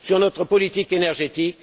Pour notre politique énergétique?